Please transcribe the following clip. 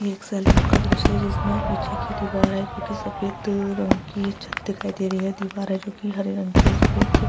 ये एक सैलून का दृश्य है जिसमें पीछे की दिवार है जो की सफ़ेद रंग की छत दिखाई दे रही है दीवाल है जो की हरे रंग की है उस पे एक --